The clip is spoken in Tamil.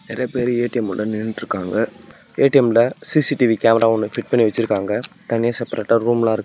நெறைய பேரு ஏ_டி_எம் உள்ள நின்னுட்ருக்காங்க ஏ_டி_எம்ல சி_சி_டி_வி கேமரா ஒன்னு ஃபிட் பண்ணி வெச்சுருக்காங்க தனியா செப்பரேட்டா ரூம் ல இருக்.